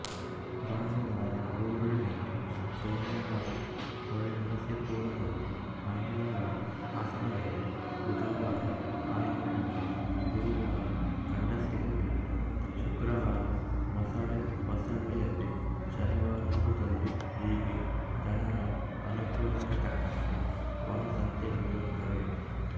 ಭಾನುವಾರಗೊರೂರಿನಲ್ಲಿ ಸೋಮವಾರಹೊಳೆನರಸೀಪುರದಲ್ಲಿ ಮಂಗಳವಾರಹಾಸನದಲ್ಲಿ ಬುಧವಾರಆಲೂರಿನಲ್ಲಿ ಗುರುವಾರಗಂಡಸಿಯಲ್ಲಿ ಶುಕ್ರವಾರಮೊಸಳೆ ಹೊಸಳ್ಳಿಯಲ್ಲಿ ಶನಿವಾರದುದ್ದದಲ್ಲಿ ಹೀಗೆ ಜನರ ಅನುಕೂಲಕ್ಕೆ ತಕ್ಕಂತೆ ವಾರಸಂತೆಗಳಿರುತ್ತವೆ